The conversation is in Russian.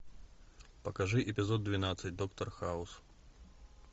покажи эпизод двенадцать доктор хаус